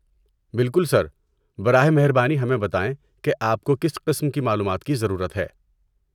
بالکل سر! براہ مہربانی ہمیں بتائیں کہ آپ کو کس قسم کی معلومات کی ضرورت ہے۔